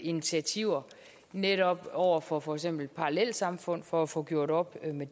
initiativer netop over for for eksempel parallelsamfund for at få gjort op med